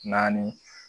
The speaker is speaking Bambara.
Naani